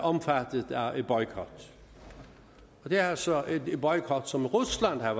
omfattet af boykot det er altså en boykot som rusland har